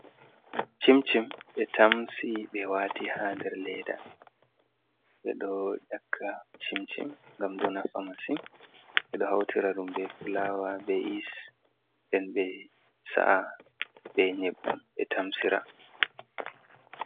Cim-cim ɓe tamsi, ɓe wati ha nder leda, ɓeɗo ƴakka cim-cim ngam ɗo nafa masin. Ɓeɗo hautira ɗum be fulawa, be yis nden ɓe sa’a be nyebbam ɓe tamsira.